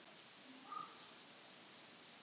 segir hún með kökk í hálsinum.